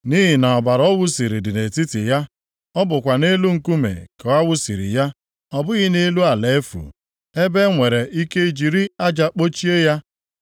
“ ‘Nʼihi na ọbara ọ wụsiri dị nʼetiti ya. Ọ bụkwa nʼelu nkume ka a wụsiri ya. Ọ bụghị nʼelu ala efu, ebe e nwere ike jiri aja kpochie ya.